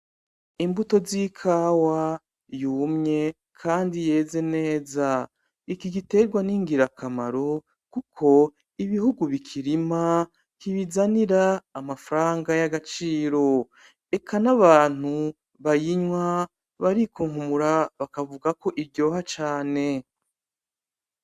Imbuto zikawa yumye Kandi yeze neza iki giterwa ningira akamaro kuko ibihugu bikirima kibizanira amafaranga yagaciro eka n'abantu bayinywa barikunkumura bakavuga ko iryoha cane.